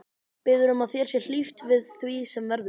Biður um að þér sé hlíft við því sem verður.